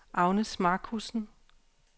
Agnes Marcussen